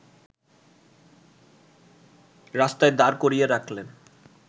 রাস্তায় দাঁড় করিয়ে রাখলে